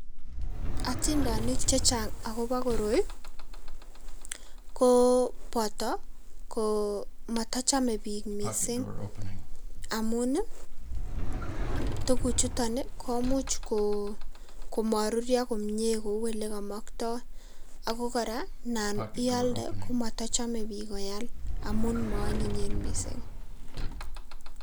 Otindonik chechang' akobo koroi, koo boto ko motochome biik missing' amun ii tuguchuton komuch ko komorurio komie kou ilekomokto ago kora anan ialde komotochome biik koyal amun moonyinyen missing'.